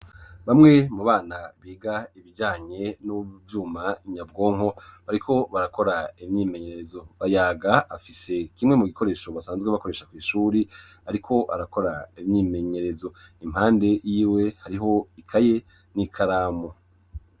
Bamwe mu bana biga ibijanye n'uvyuma nyabwonko bariko barakora imyimenyerezo. Bayaga afise kimwe mu gikoresho basanzwe bakoresha kw'ishuri ariko arakora imyimenyerezo, impande y'iwe hariho ikaye n'ikaramu.